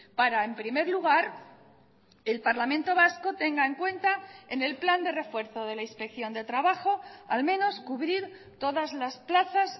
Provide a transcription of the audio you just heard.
para en primer lugar el parlamento vasco tenga en cuenta en el plan de refuerzo de la inspección de trabajo al menos cubrir todas las plazas